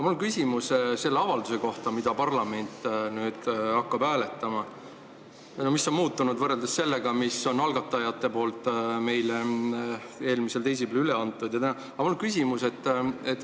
Mul on küsimus selle avalduse kohta, mida parlament hakkab nüüd hääletama ja mis on muutunud võrreldes sellega, mille algatajad meile eelmisel teisipäeval üle andsid.